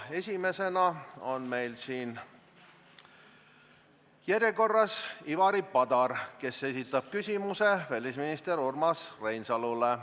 Esimesena on meil järjekorras Ivari Padar, kes esitab küsimuse välisminister Urmas Reinsalule.